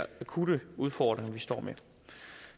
akutte udfordringer vi står med